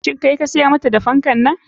Shin kai ka siyar mata da fankan?